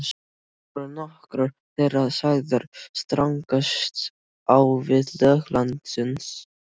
Voru nokkrar þeirra sagðar stangast á við lög landsins.